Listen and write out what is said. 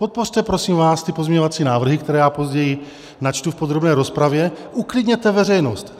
Podpořte prosím vás ty pozměňovací návrhy, které já později načtu v podrobné rozpravě, uklidněte veřejnost.